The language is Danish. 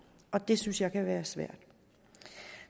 og det synes jeg kan være svært